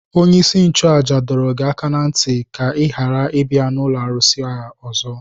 Onye-isi-nchu-àjà dọrọ gị aka ná ntị ka i ghara ibia ụlọ arụsị ya ọzọ.